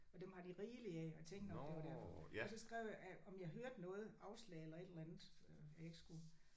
Og dem har de rigeligt af og tænkte nok det var derfor. Og så skrev jeg om jeg hørte noget afslag eller et eller andet øh at jeg ikke skulle